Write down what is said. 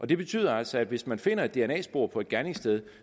det betyder altså at hvis man finder et dna spor på et gerningssted